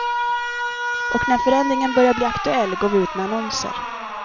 Och när förändringen börjar bli aktuell går vi ut med annonser.